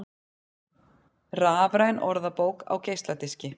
Rafræn orðabók á geisladiski